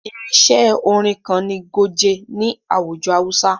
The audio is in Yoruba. Irinṣẹ́ orin kan ni goge ni àwùjọ hausa.